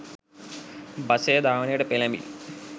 බසය ධාවනයට පෙළැඹිණි.